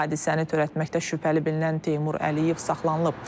Hadisəni törətməkdə şübhəli bilinən Teymur Əliyev saxlanılıb.